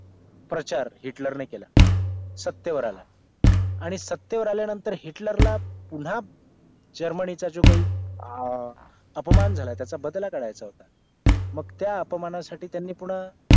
प्रचार हिटलर ने केला सत्तेवर आला आणि सत्तेवर आल्यानंतर हिटलरला पुन्हा जर्मनीचा जो काही आह अपमान झाला त्याचा बदला करायचा होता मग त्या अपमानासाठी त्यांनी पुन्हा